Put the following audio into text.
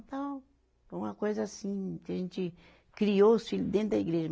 Então, foi uma coisa assim, que a gente criou os filho dentro da igreja.